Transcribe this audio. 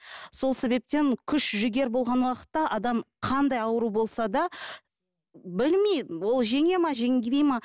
сол себептен күш жігер болған уақытта адам қандай ауру болса да білмеймін ол жеңе ме жеңбей ме